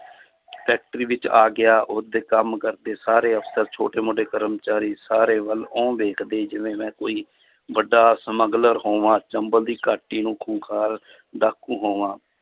Factory ਵਿੱਚ ਆ ਗਿਆ ਉਹਦੇ ਕੰਮ ਕਰਤੇ ਸਾਰੇ ਅਫ਼ਸਰ ਛੋਟੇ ਮੋਟੇ ਕਰਮਚਾਰੀ ਸਾਰੇ ਵੱਲ ਆਉਂਦੇ ਕਦੇ ਜਿਵੇਂ ਮੈਂ ਕੋਈ ਵੱਡਾ ਸਮਗਲਰ ਹੋਵਾਂ, ਚੰਬਲ ਦੀ ਘਾਟੀ ਨੂੰ ਖੁੰਖਾਰ ਡਾਕੂ ਹੋਵਾਂ